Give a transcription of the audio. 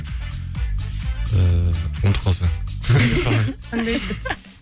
ыыы ұмытып қалсаң